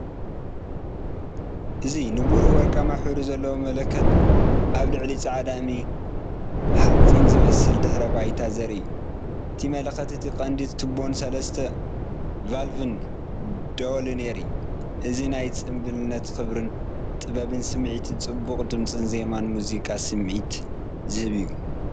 እዚ ንብሩህ ወርቃዊ ሕብሪ ዘለዎ መለኸት ኣብ ልዕሊ ጻዕዳ እምኒ-ሓጺን ዝመስል ድሕረ ባይታ ዘርኢ እዩ። እቲ መለኸት እቲ ቀንዲ ቱቦን ሰለስተ ቫልቭን ደወልን የርኢ። እዚናይ ጽምብልን ክብርን ጥበብን ስምዒትን ጽቡቕ ድምጽን ዜማን ሙዚቃ ስምዒት ዝሀብ እዩ።